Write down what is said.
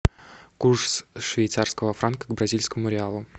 курс швейцарского франка к бразильскому реалу